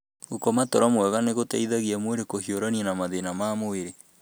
Gũkoma toro mwega nĩ gũteithagia mwĩrĩ kũhiũrania na mathĩna ma mwĩrĩ.